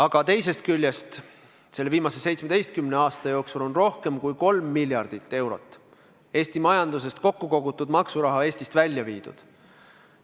Aga teisest küljest, selle viimase 17 aasta jooksul on rohkem kui 3 miljardit eurot Eesti majandusest kokku kogutud maksuraha Eestist välja viidud.